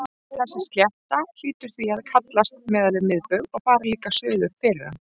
Þessi slétta hlýtur því að hallast miðað við miðbaug og fara líka suður fyrir hann.